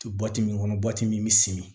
To waati min kɔnɔ min bɛ simi